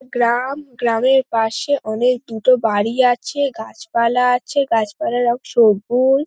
গ্রাম গ্রামের পাশে অনেক দুটো বাড়ি আছে গাছপালা আছে গাছপালার রং সবুজ ।